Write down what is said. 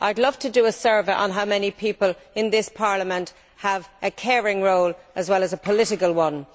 I would love to do a survey on how many people in this Parliament have a caring role as well as a political one.